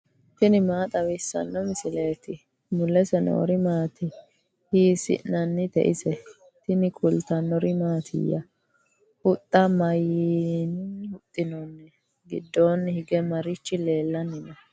tini maa xawissanno misileeti ? mulese noori maati ? hiissinannite ise ? tini kultannori mattiya? Huxxa mayiinni huxinoonni? gidoonni hige marichi leelanni noo?